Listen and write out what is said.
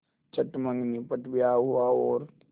चट मँगनी पट ब्याह हुआ और